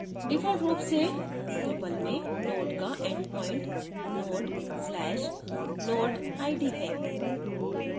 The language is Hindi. default रूप से drupal में node का endpoint node/node: id है